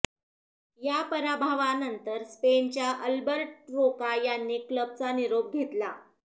या पराभवानंतर स्पेनच्या अल्बर्ट रोका यांनी क्लबचा निरोप घेतला